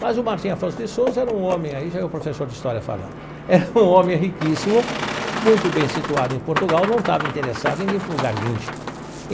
Mas o Martim Afonso de Sousa era um homem aí, já é o professor de história falando, era um homem riquíssimo, muito bem situado em Portugal, não estava interessado em vir para um lugar índio.